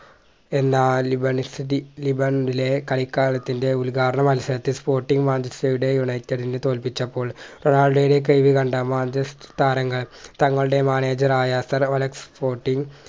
എല്ലാ ലിബാനിസ്റ്റ്‌തി ലിബണിലെ കളികാലത്തിന്റെ ഉദ്ഘാടന മത്സരത്തിൽ sporting മാഞ്ചസ്റ്റർടെ united നെ തോൽപ്പിച്ചപ്പോൾ റൊണാൾഡോയുടെ കഴിവ് കണ്ട മാഞ്ചസ്റ്റർ താരങ്ങൾ തങ്ങളുടെ Manager ആയ sir അലക്സ് fourteen